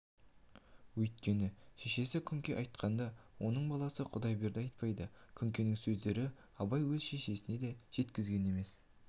үйткені шешесі күнке айтқанды оның баласы құдайберді айтпайды күнкенің сөздерін абай өз шешесіне де жеткізген емес